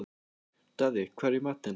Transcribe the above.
Daði, hvað er í matinn?